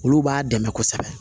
Olu b'a dɛmɛ kosɛbɛ